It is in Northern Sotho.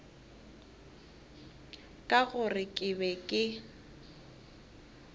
ka gore ke be ke